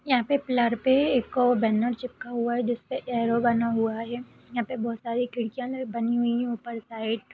यहाँं पे पिल्लर पे एक बैनर चिपका हुआ है जिस पे एरो बना हुआ है ये यहाँं पे बहुत सारी खिड़कियां बनी हुई हैं उपर साइड ।